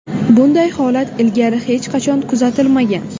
Bunday holat ilgari hech qachon kuzatilmagan.